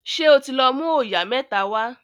ṣe o tí lọ mú oyà mẹ́ta wá